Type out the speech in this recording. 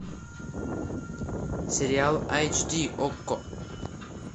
сериал айч ди окко